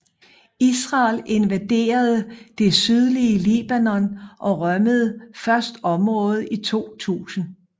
Israel invaderede det sydlige Libanon og rømmede først området i 2000